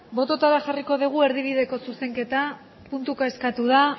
bototara jarriko dugu erdibideko zuzenketa puntuka eskatu da